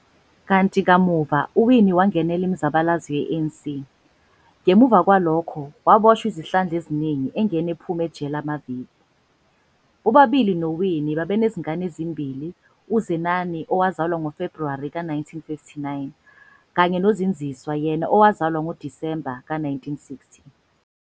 Kanti kamuva uWinnie wangenela imizabalazo ye-ANC, ngemuva kwalokho waboshwa izihlandla eziningi engena ephuma ejele amavik. Bobabili noWinnie baba nezingane ezimbili, uZenani owazalwa ngoFebruwari ka 1959 kanye noZindziswa yena owazalwa ngoDisemba 1960.